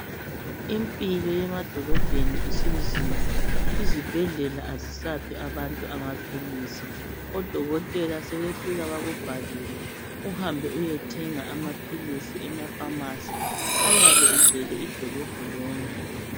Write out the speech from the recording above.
Impilo yemadolobheni isinzima. Izibhedlela kazisaphi abantu amaphilisi. Odokotela sebefika bakubhalele, uhambe uyethenga amaphilisi emaPharmacy. Ayabe egcwele idolobho lonke.